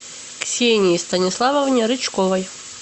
ксении станиславовне рычковой